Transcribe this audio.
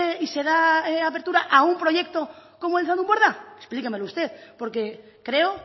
y se da apertura a un proyecto como el zaldunborda explíquemelo usted porque creo